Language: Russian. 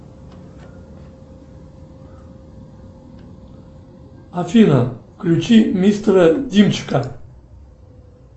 афина включи мистера димчика